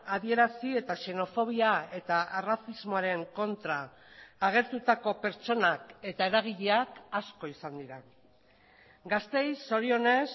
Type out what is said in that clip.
adierazi eta xenofobia eta arrazismoaren kontra agertutako pertsonak eta eragileak asko izan dira gasteiz zorionez